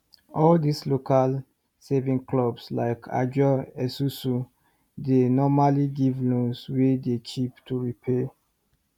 all these local saving clubs like ajo esusu dey normally give loans wey dey cheap to repay